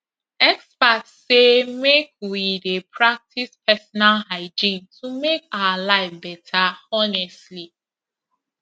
experts say make we dey practice personal hygiene to make our life better honestly